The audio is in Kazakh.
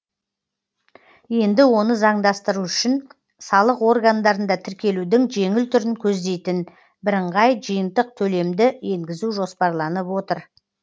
енді оны заңдастыру үшін салық органдарында тіркелудің жеңіл түрін көздейтін бірыңғай жиынтық төлемді енгізу жоспарланып отыр